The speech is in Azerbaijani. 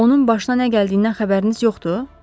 Onun başına nə gəldiyindən xəbəriniz yoxdur?